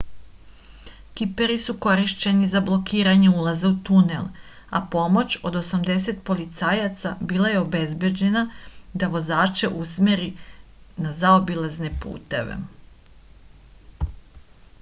kiperi su korišćeni za blokiranje ulaza u tunel a pomoć od 80 policajaca bila je obezbeđena da vozače usmeri na zaobilazne puteve